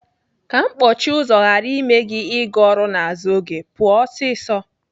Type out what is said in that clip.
Ka mkpọchi ụzọ ghara ime gị ịga ọrụ n'azụ oge, pụọ ọsịsọ.